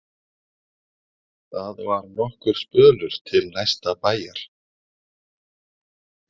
Það var nokkur spölur til næsta bæjar.